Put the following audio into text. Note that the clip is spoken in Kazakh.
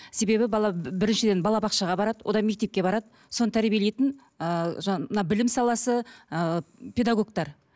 себебі бала біріншіден балабақшаға барады одан мектепке барады соны тәрбиелейтін ыыы мына білім саласы ыыы педагогтар